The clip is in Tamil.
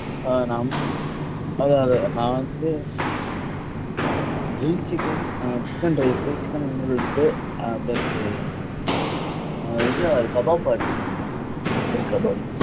ஆஹ் நான் வ~ அதான், அதான் நான் வந்து Grill chicken ஹம் chicken rice உ chicken noodles உ ஹம் plus உ ஹம் இது kebab order பண்ணிருந்தேன் chicken kebab